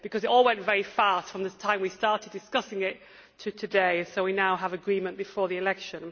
It all went very fast, from the time we started discussing it to today, so we now have agreement before the election.